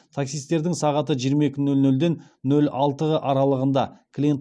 таксистердің сағаты жиырма екі нөл нөлден нөл алты аралығында клиент